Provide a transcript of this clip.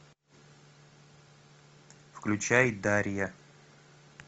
включай дарья